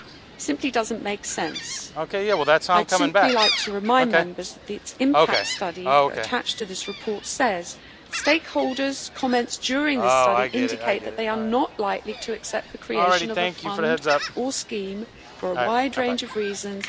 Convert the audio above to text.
It simply does not make sense. I would simply like to remind Members that the impact study attached to this report says Stakeholders' comments during this study indicate that they are not likely to accept the creation of a fund or scheme for a wide range of reasons.....',